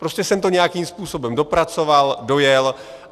Prostě jsem to nějakým způsobem dopracoval, dojel.